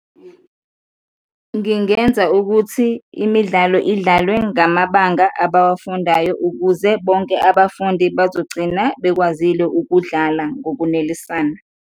Ngingenza ukuthi imidlalo idlalwe ngamabanga abawafundayo ukuze bonke abafundi bazogcina bekwazile ukudlala ngokunelisana.